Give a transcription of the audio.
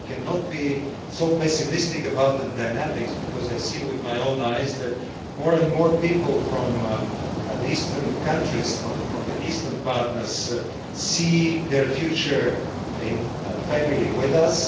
I cannot be so pessimistic about the dynamics because I can see with my own eyes that more and more people from the eastern countries, from the eastern partners, see their future in a family with us.